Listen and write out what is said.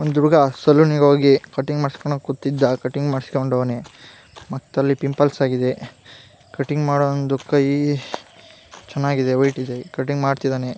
ಒಂದು ಹುಡುಗ ಸಲೂನಾ ಗಿ ಹೋಗಿ ಕಟಿಂಗ್ ಮಾಡಸ್ಕೊಂಡು ಕೊತ್ತಿದ್ದ ಕಟಿಂಗ್ ಮಾಡ್ಕೊಸ್ಕೊಂಡು ಮತ್ತೆ ಪಿಂಪಲ್ಸ್ಕ ಆಗಿದೆ ಕಟಿಂಗ್ ಮಾಡುಂದು ಕೈ ಚನ್ನಾಗಿದೆ ವೈಟ್ ಇದೆ ಕಟಿಂಗ್ ಮಾಡ್ತಿದ್ದಾನೆ .